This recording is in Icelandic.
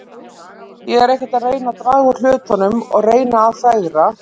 Ég er ekkert að reyna að draga úr hlutunum og reyna að fegra.